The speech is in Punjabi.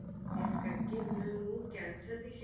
ਜਿਸ ਕਰਕੇ ਉਹਨਾਂ ਨੂੰ ਕੈਂਸਰ ਦੀ